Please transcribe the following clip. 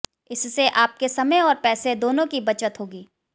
इससे आपके समय और पैसे दोनों की बचत होगी